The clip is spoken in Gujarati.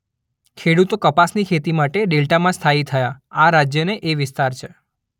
ખેડૂતો કપાસની ખેતી કરવા માટે ડેલ્ટામાં સ્થાયી થયા આ રાજ્યને એ વિસ્તાર છે